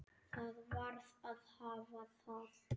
Það varð að hafa það.